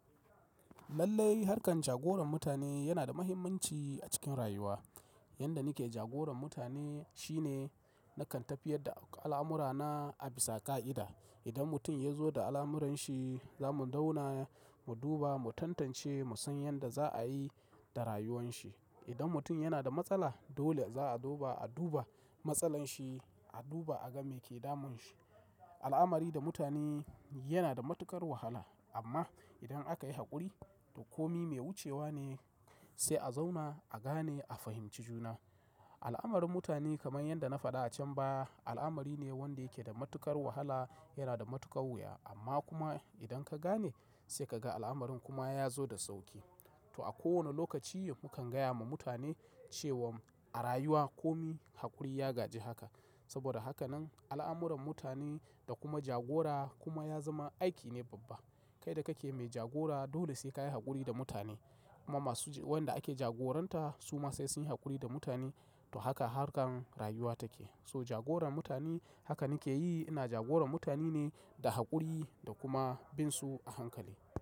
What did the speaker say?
Lallai harkar jagoran mutane yana da muhimmanci a cikin rayuwa. Yanda nake jagoran mutane shine nakan tafiyar da al'amura na a bisa ka'ida. Idan mutum ya zo da al'amuran shi, zamu zauna mu duba, mu tantance, mu san yanda za a yi da rayuwan shi. Idan mutum yana da matsala dole za a duba, a duba matsalan shi, a duba a ga me ke damun shi. Al'amari da mutane yana da matuƙar wahala amma idan aka yi haƙuri, komi mai wucewa ne sai a zauna a gane a fahimci juna. Al'amarin mutane kaman yanda na faɗa a can baya al'amari ne wanda yake da matuƙar wahala, yana da matuƙar wuya amma kuma idan ka gane sai ka ga al'amarin kuma ya zo da sauƙi. To a kowane lokaci mukan gaya ma mutane cewan a rayuwa komi haƙuri ya gaji haka. Saboda haka nan al'amuran mutane da kuma jagora kuma ya zama aiki ne babba. Kai da kake mai jagora dole sai kayi haƙuri da mutane kuma masu wanda ake jagoranta su ma sai sunyi haƙuri da mutane. To haka harkan rayuwa take. To jagoran mutane haka nake yi. Ina jagoran mutane ne da haƙuri da kuma bin su a hankali.